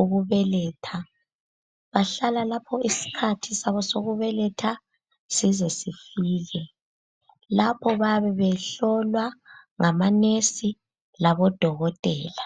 ukubeletha. Bahlala lapho isikhathi sabo sokubeletha sizesifike. Lapho bayabe behlolwa ngamanesi labo dokotela.